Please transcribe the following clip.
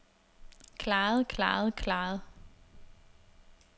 klaret klaret klaret